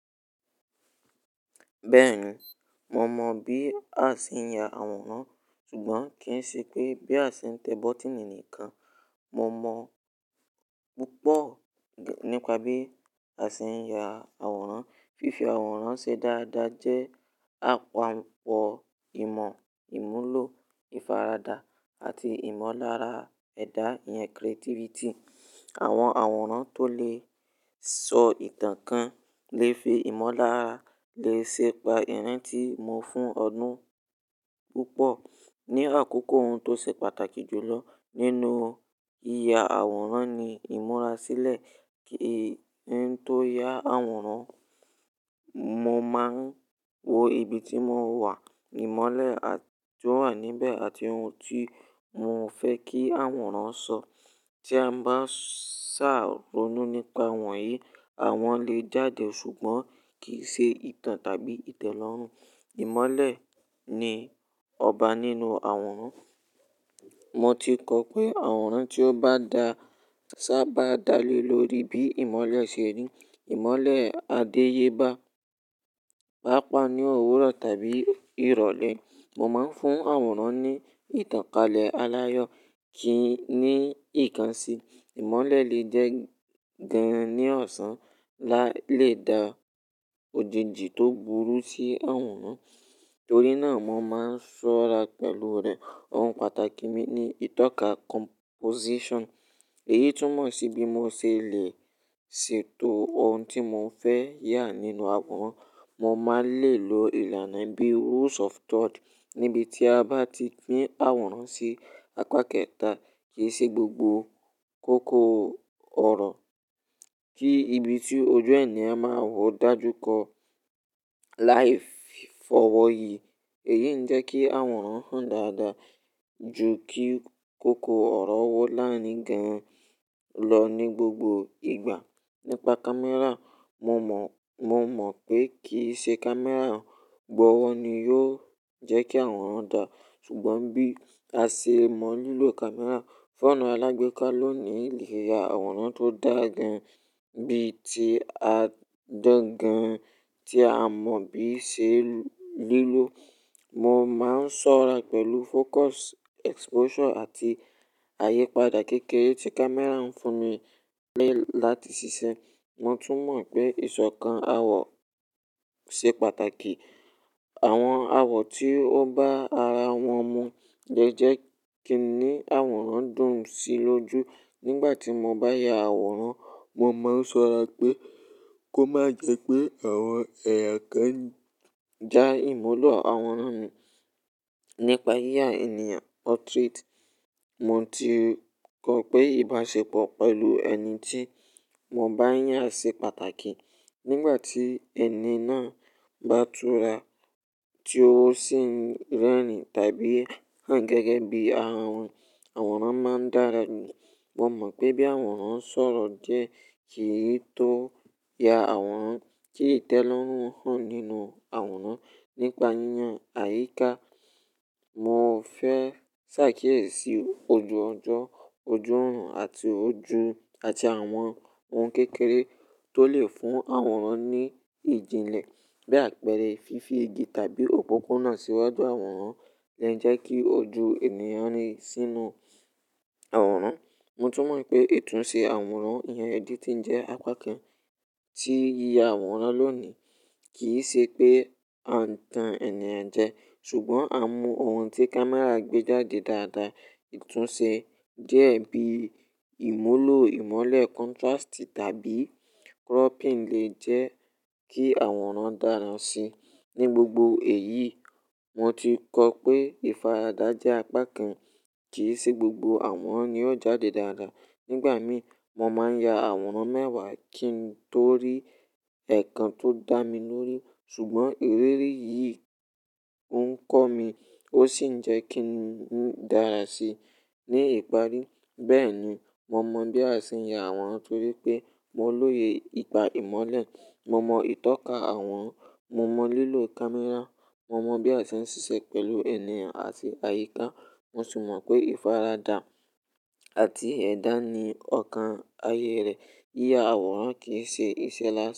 Bẹ́ẹ̀ni, mo mọ bí a ṣe ń ya àwòrán ṣùgbọ́n kì í ṣe pé bí a ṣe ń tẹ bọ́tíìnì nìkan. Mo mọ púpọ̀ nípa bí a ṣe ń ya àwòrán. Fífi àwòrán ṣe dáadáa jẹ́ àpapọ́ ìmọ̀ ìmúlò ìfaradà àti ìmọ̀lára ẹ̀dà ìyẹn creativity. Àwọn àwòrán tó lè sọ ìtàn kan lè fi ìmọ̀lára lè ṣe pa ìrántí mo fún ọdún púpọ̀. Ni àkókò ohun tó ṣe pàtàkì jù lọ nínú ìya àwòrán ni ìmúrasílẹ̀ kí ẹni tó ya àwòrán, mo máa ń wo ibi tí mò ń wà, ìmọ́lẹ̀ tí ó wà níbẹ̀ àti ohun tí mo fẹ́ kí àwòrán sọ. Tí a bá ṣàrónú nípa wọ̀nyí, àwọn lè jáde ṣùgbọ́n kì í ṣe ìtàn tàbí ìtẹ́lọ́rùn. Ìmọ́lẹ̀ ni ọba nínú àwòrán. Mo ti kọ pé àwòrán tí ó bá da ṣá bá dalé lórí bí ìmọ́lẹ̀ ṣe rí, ìmọ́lẹ̀ á dé yé bá. Pápa ni òwúrọ̀ tàbí ìrọ̀lẹ́. Mo máa ń fún àwòrán ní ìtàn kalẹ̀ aláyọ̀ kì í ní ìkànṣí. Ìmọ́lẹ̀ lè jẹ́ gan ní ọ̀sán, la lè da òjìjì tó burú sí àwòrán. Torí náà mo máa ń ṣọ́ra pẹ̀lú rẹ̀. Ohun pàtàkì mi ni ìtọ́ka composition. Èyí tún mọ̀ sí bí mo ṣe lè ṣètò ohun tí mo fẹ́ yà nínú àwòrán. Mo máa lè lo ìlànà bí rules of third níbi tí a bá ti pín àwòrán sí apá kẹta kì í ṣe gbogbo kòkò ọ̀rọ̀. Kí ibi tí ojú ènìyàn máa wo dájú kọ. Láì fi f'ọwọ́ yi, èyí ń jẹ́ kí àwòrán hàn dáadáa ju kí kòkò ọ̀rọ̀ wọ́ láàárín gẹ́rùn lọ ní gbogbo ìgbà. Nípa camera, mo mọ, mo mọ pé kì í ṣe camera gbọ́wọ́ ni yóò jẹ́ kí àwòrán dà. Ṣùgbọ́n bí a ṣe mọ lílo camera, fóònù alágbèéká lónìí le ya àwòrán tó dà gan bí i tí a dán gan tí a mọ bí ṣe lílò. Mo máa ń ṣọ́ra pẹ̀lú focus, exposure àti àyípadà kékeré tí camera ń fún mi lé láti ṣiṣẹ́. Mo tún mọ̀ pé ìṣọ̀kan awọ ṣe pàtàkì. Àwọn awọ tí ó bá ara wọn mu jẹ́jẹ́ kí ni àwòrán dùn sí lójú. Nígbà tí mo bá ya àwòrán, mo máa ń ṣọ́ra pé kó má jẹ́ pé àwọn ẹ̀yà kan já ìmúlò àwòrán mi. Nípa yíya ènìyàn portrait, mo ti kọ pé ìbáṣepọ̀ pẹ̀lú ẹni tí mo bá ń ya ṣe pàtàkì. Nígbà tí ẹni náà bá túra tí ó sì ń rẹ́rìn-ín tàbí hán gẹ́gẹ́ bí àwọn àwòrán máa ń dára. Mo mọ pé bí àwòrán sọ̀rọ̀ jẹ́ kì í tó ya àwòrán kí ìtẹ́lọ́rùn hàn nínú àwòrán. Nípa yíyan àyíká, mo fẹ́ ṣàkíyèsí ojú ọjọ́, ojú òórùn àti ojú àti àwọn ohun kékeré tó lè fún àwòrán ní ìjìnlẹ̀ bí àpẹẹrẹ fífi igi tàbí òpópónà síwájú àwòrán lè ń jẹ́ kí ojú ènìyàn sì inú àwòrán. Mo tún mọ̀ pé ìtúnṣe àwòrán ìyẹn editing jẹ́ apá kan tí yíya àwòrán lónìí. Kì í ṣe pé a n tan ènìyàn jẹ ṣùgbọ́n a mú ohun tí camera gbé jáde dáadáa. Ìtúnṣe jẹ́ bí ìmúlò ìmọ́lẹ̀ contrast tàbí cropping lè jẹ́ kí àwòrán dára sí i. Ní gbogbo èyí, mo ti kọ pé ìfaradà jẹ́ apá kan kì í ṣe gbogbo àworan ni yóò jáde dáadáa. Nígbà mí, mo máa ń ya àwòrán mẹ́wàá kí n tó rí ẹ̀ẹ̀kan tó dá mi lórí. Ṣùgbọ́n ìrírí yìí oń kọ́ mi, ó sì ń jẹ́ kí mo dára sí i ní ìparí. Bẹ́ẹ̀ni, mo mọ bí a ṣe ń ya àwòrán torí pé mo lóye ìpà ìmọ́lẹ̀, mo mọ ìtọ́ka àworan, mo mọ lílo camera, mo mọ bí a ṣe ń ṣiṣẹ́ pẹ̀lú ènìyàn àti àyíká. Mo tún mọ̀ pé ìfaradà àti ẹ̀dà ni ọ̀kan ayé rẹ̀. Yíya àwòrán kì í ṣe iṣẹ́ lásán.